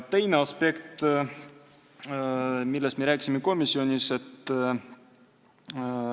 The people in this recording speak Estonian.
Teine aspekt, millest me komisjonis rääkisime.